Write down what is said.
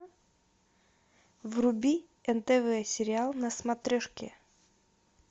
вруби нтв сериал на смотрешке